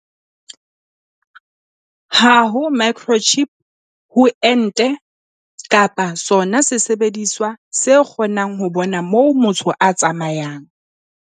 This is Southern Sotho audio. Ha ho microchip ho ente kapa sona sesebediswa se kgo nang ho bona moo motho a tsamayang.